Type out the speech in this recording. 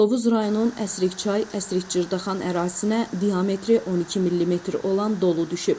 Tovuz rayonunun Əsrikçay Əsrikçırdağan ərazisinə diametri 12 millimetr olan dolu düşüb.